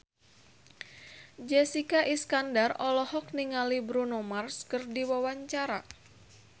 Jessica Iskandar olohok ningali Bruno Mars keur diwawancara